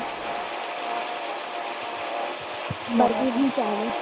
ચાલે છે